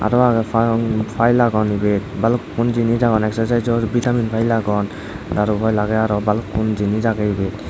aro agey file agon ibet balukkun jinij agon exercisor vitamin file agon daru file agey aro balokkani jinij agey ibet.